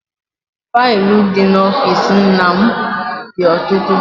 Faịlụ dị n'ọfịịsi nna m dị ọtụtụ.